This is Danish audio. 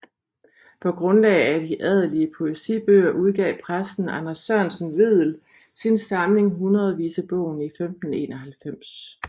På grundlag af de adelige poesibøger udgav præsten Anders Sørensen Vedel sin samling Hundredvisebogen i 1591